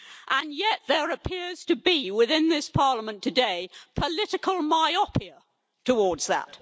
And yet there appears to be within this Parliament today political myopia towards that.